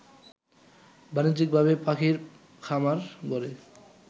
বাণিজ্যিকভাবে পাখির খামার গড়ে